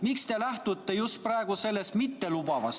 Miks te lähtute praegu sellest viimasest?